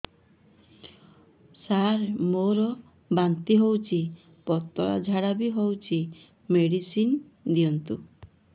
ସାର ମୋର ବାନ୍ତି ହଉଚି ପତଲା ଝାଡା ବି ହଉଚି ମେଡିସିନ ଦିଅନ୍ତୁ